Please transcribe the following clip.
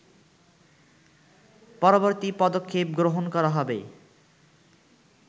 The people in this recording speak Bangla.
পরবর্তী পদক্ষেপ গ্রহণ করা হবে